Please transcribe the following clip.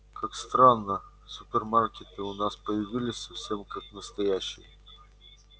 как странно супермаркеты у нас появились совсем как настоящие